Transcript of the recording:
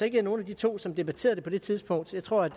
ikke nogen af de to som debatterede det på det tidspunkt jeg tror at